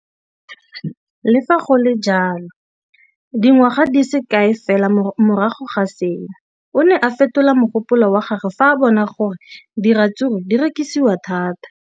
Le fa go le jalo, dingwaga di se kae fela morago ga seno, o ne a fetola mogopolo wa gagwe fa a bona gore diratsuru di rekisiwa thata.